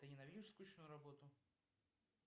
ты ненавидишь скучную работу